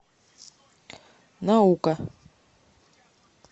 наука